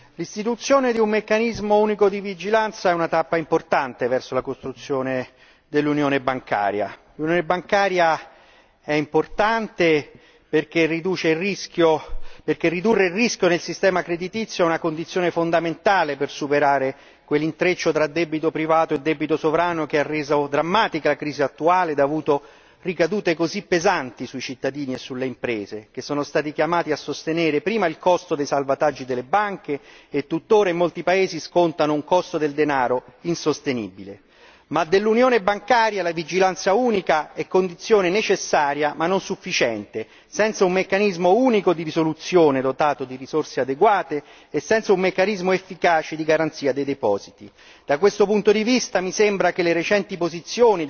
Signor Presidente, onorevoli colleghi, l'istituzione di un meccanismo di vigilanza unico è una tappa importante verso la costruzione dell'unione bancaria. L'unione bancaria è importante perché ridurre il rischio del sistema creditizio è una condizione fondamentale per superare quell'intreccio tra debito privato e debito sovrano che ha reso drammatica la crisi attuale ed ha avuto ricadute così pesanti sui cittadini e sulle imprese, che sono stati chiamati a sostenere prima il costo dei salvataggi delle banche e tutt'ora in molti paesi scontano un costo del denaro insostenibile. Tuttavia, per l'unione bancaria, la vigilanza unica è condizione necessaria ma non sufficiente, senza un meccanismo unico di risoluzione dotato di risorse adeguate e senza un meccanismo efficace di garanzia dei depositi.